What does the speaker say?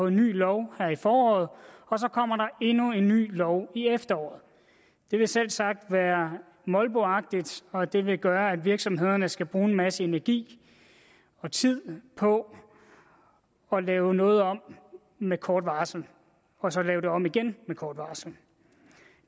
en ny lov her i foråret og så kommer der endnu en ny lov i efteråret det vil selvsagt være molboagtigt og det vil gøre at virksomhederne skal bruge en masse energi og tid på at lave noget om med kort varsel og så lave det om igen med kort varsel